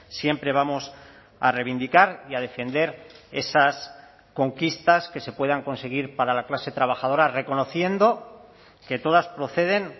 siempre vamos a reivindicar y a defender esas conquistas que se puedan conseguir para la clase trabajadora reconociendo que todas proceden